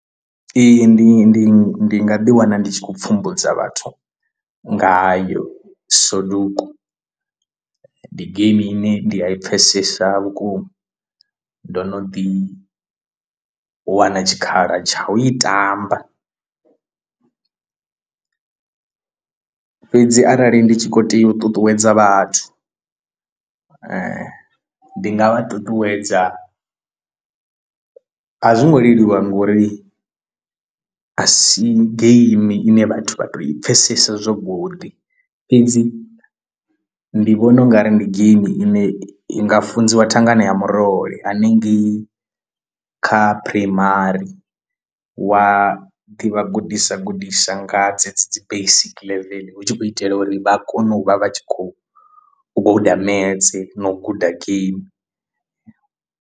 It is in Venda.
Ee, ndi ndi ndi nga ḓi wana ndi tshi kho u pfhumbudza vhathu ngayo soduku ndi geimi ine ndi a i pfhesesa vhukuma ndo no ḓi u wana tshikhala tsha u i tamba, fhedzi arali ndi tshi khou tea u ṱuṱuwedza vhathu ndi nga vha ṱuṱuwedza a zwo ngo leluwa ngori a si game ine vhathu vha to i pfhesesa zwo godi. Fhedzi ndi vhona ungari ndi game ine i nga funziwa thangana ya murole hanengei kha phuraimari wa ḓi vha gudisa gudisa nga dzedzi dzi basic level hu tshi khou itela uri vha kone u vha vha tshi khou guda maths na u guda game.